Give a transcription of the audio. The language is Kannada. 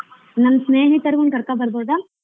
ನಮ್ಮ್ ಸ್ನೇಹಿತರ್ನ್ನು ಕರಕೋ ಬರಬೋದಾ?